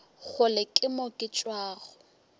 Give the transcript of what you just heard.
kgole ke mo ke tšwago